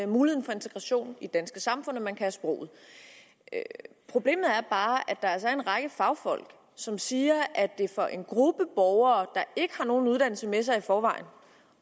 muligheden for integration i det danske samfund at man kan sproget problemet er bare at der altså er en række fagfolk som siger at det for en gruppe borgere der ikke har nogen uddannelse med sig i forvejen